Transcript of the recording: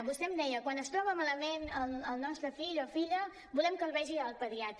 vostè em deia quan es troba malament el nostre fill o filla volem que el vegi el pediatre